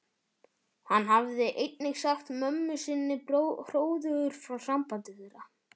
Hann hafði einnig sagt mömmu sinni hróðugur frá sambandi þeirra